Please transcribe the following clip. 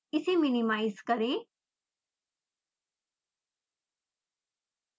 इसे मिनिमाइज़ करें